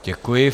Děkuji.